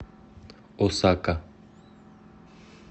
осака